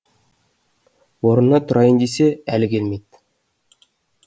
орнына тұрайын десе әлі келмейді